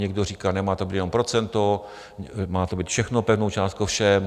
Někdo říká: Nemá to být jen procento, má to mít všechno pevnou částku všem.